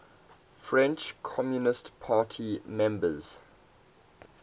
french communist party members